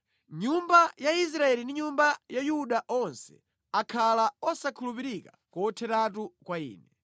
Nyumba ya Israeli ndi nyumba ya Yuda onse akhala osakhulupirika kotheratu kwa Ine.”